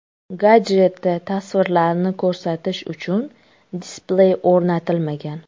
Gadjetda tasvirlarni ko‘rsatish uchun displey o‘rnatilmagan.